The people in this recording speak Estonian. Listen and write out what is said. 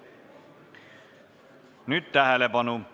Nüüd tähelepanu!